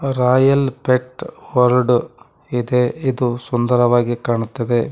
Royal pet world ಇದೆ ಇದು ಸುಂದರವಾಗಿ ಕಾಣುತ್ತದೆ.